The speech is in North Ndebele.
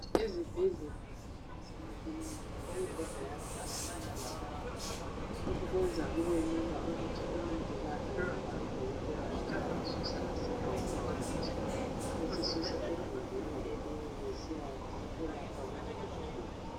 Ezibhedlala kanye lasemakilinika imibheda yakhona iba lamavili. Lokhu kwenza kubelula ukuthi omongikazi kanye labodokotela nxa besusa isigulane esithile besisusa egumbini elinye besiya siyelapha kwelinye igumbi.